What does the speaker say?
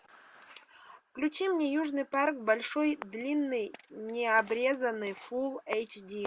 включи мне южный парк большой длинный необрезанный фул эйч ди